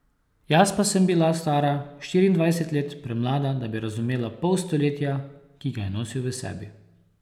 Jaz pa sem bila stara štiriindvajset let, premlada, da bi razumela pol stoletja, ki ga je nosil v sebi.